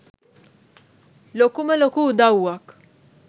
ලොකුම ලොකු උදවුවක්.